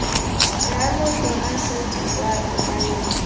rialo tona surty kwa kopanong